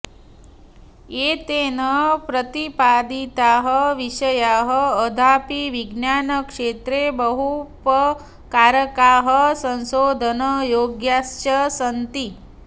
एतेन प्रतिपादिताः विषयाः अद्यापि विज्ञानक्षेत्रे बहूपकारकाः संशोधनयोग्याश्च सन्ति